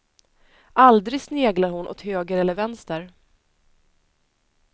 Aldrig sneglar hon åt höger eller vänster.